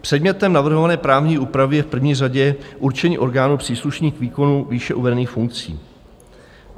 Předmětem navrhované právní úpravy je v první řadě určení orgánů příslušných k výkonu výše uvedených funkcí.